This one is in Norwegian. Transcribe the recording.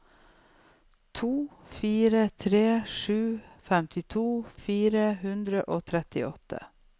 to fire tre sju femtito fire hundre og trettiåtte